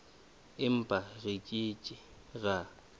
empa re ke ke ra